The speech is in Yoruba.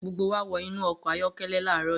Gbogbo wa wọ inú ọkọ̀ ayọ́kẹ́lẹ́ láàárọ̀ yìí.